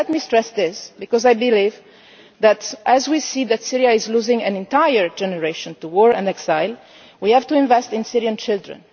Let me stress this, because I believe that as we see Syria losing an entire generation to war and exile we have to invest in Syrian children.